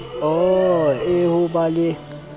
oo e ho ba le